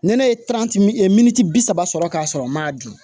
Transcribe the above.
Nɛnɛ ye bi saba sɔrɔ ka sɔrɔ n m'a dun